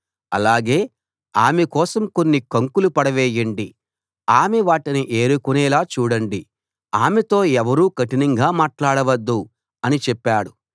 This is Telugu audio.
అలాగే ఆమె కోసం కొన్ని కంకులు పడవేయండి ఆమె వాటిని ఏరుకునేలా చూడండి ఆమెతో ఎవరూ కఠినంగా మాట్లాడవద్దు అని చెప్పాడు